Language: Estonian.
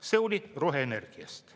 See oli roheenergiast.